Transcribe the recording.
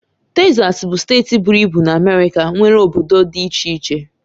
Tesas bụ steeti buru ibu na Amérika nwere obodo dị iche iche.